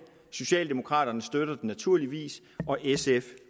socialdemokraterne støtter den naturligvis og sf